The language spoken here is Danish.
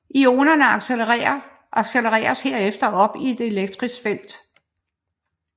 Ionerne accelereres herefter op i et elektrisk felt